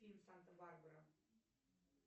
фильм санта барбара